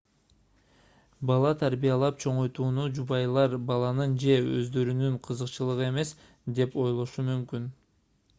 бала тарбиялап чоңойтууну жубайлар баланын же өздөрүнүн кызыкчылыгы эмес деп ойлошу мүмкүн